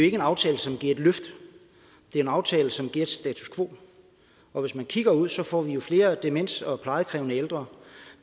ikke en aftale som giver et løft det er en aftale som giver status quo og hvis man kigger ud ser får vi jo flere demente og plejekrævende ældre